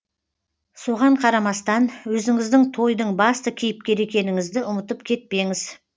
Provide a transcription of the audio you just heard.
соған қарамастан өзіңіздің тойдың басты кейіпкері екеніңізді ұмытып кетпеңіз